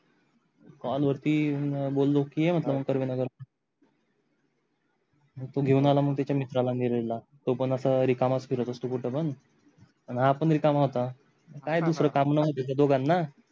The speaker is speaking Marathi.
काल वरती बोललो कि ये म्हटल सर्वे नगर मग तो घेऊन आला मग त्याच्या मित्राला नीरज ला तो पण आता रिकामाच फिरत असतो कुठ पण आणि हा पण रिकामाच होता काय दुसर काम नवते त्या दोघांना